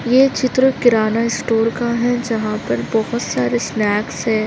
ये चित्र किराना स्टोर का है। जहाँ पर बहुत सारे स्नॅक्स है।